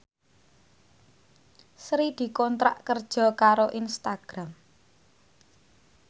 Sri dikontrak kerja karo Instagram